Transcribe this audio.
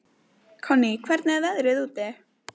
Konný, hvernig er veðrið úti?